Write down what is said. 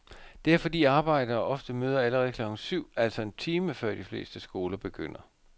Det er fordi arbejdere ofte møder allerede klokken syv, altså en time før de fleste skoler begynder.